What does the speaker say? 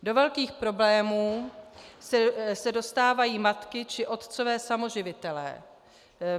Do velkých problémů se dostávají matky či otcové samoživitelé.